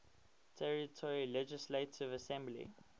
territory legislative assembly